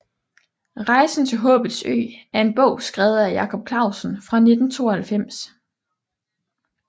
Rejsen til håbets ø er en bog skrevet af Jacob Clausen fra 1992